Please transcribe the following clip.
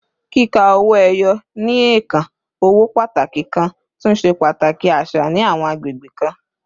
Kika owo eyo, ni ẹẹkan owo pataki kan, tun ṣe pataki aṣa ni awọn agbegbe kan